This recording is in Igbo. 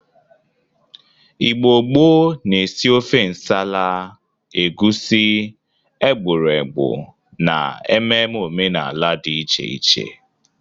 Igbo gboo na-esi ofe nsala, egusi ,egbụregbụ na ememe omenala dị iche iche.